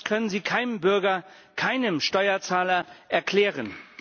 Das können Sie keinem Bürger, keinem Steuerzahler, erklären.